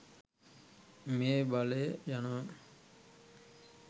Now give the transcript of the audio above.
මේ බලය යනවා.